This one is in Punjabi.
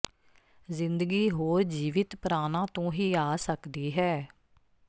ਜ਼ਿੰਦਗੀ ਹੋਰ ਜੀਵਿਤ ਪ੍ਰਾਣਾਂ ਤੋਂ ਹੀ ਆ ਸਕਦੀ ਹੈ